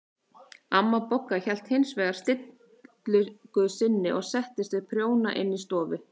Amma Bogga hélt hins vegar stillingu sinni og settist við prjóna inn í stofu.